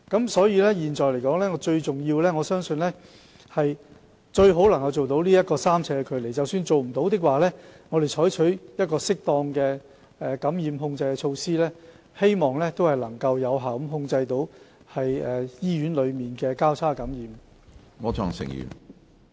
我相信現在最重要的是，盡量做到維持3呎的病床距離，而即使做不到，我們仍會採取適當的感染控制措施，以期有效控制醫院內交叉感染的情況。